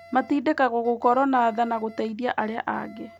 Matindĩkagwo gũkoragwo na tha na gũteithia arĩa angĩ.